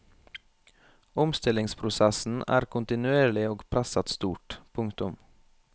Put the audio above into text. Omstillingsprosessen er kontinuerlig og presset stort. punktum